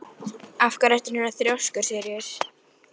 Af hverju ertu svona þrjóskur, Sýrus?